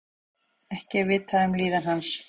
Ekki er vitað um líðan hans